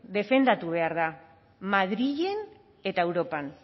defendatu behar da madrilen eta europan